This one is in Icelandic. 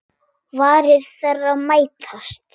Varir þeirra mætast.